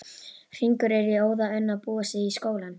Hringur er í óða önn að búa sig í skólann.